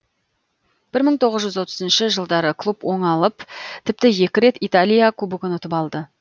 бір мың тоғыз жүз отызыншы жылдары клуб оңалып тіпті екі рет италия кубогын ұтып алды